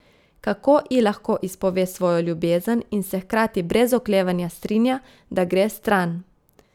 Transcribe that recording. Kako ji lahko izpove svojo ljubezen in se hkrati brez oklevanja strinja, da gre stran?